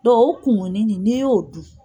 Dɔ o kumunni ni n'i y'o dun.